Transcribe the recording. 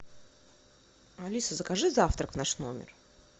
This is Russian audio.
алиса закажи завтрак в наш номер